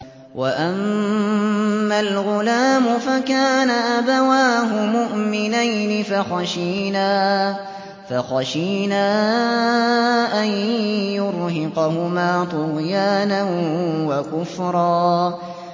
وَأَمَّا الْغُلَامُ فَكَانَ أَبَوَاهُ مُؤْمِنَيْنِ فَخَشِينَا أَن يُرْهِقَهُمَا طُغْيَانًا وَكُفْرًا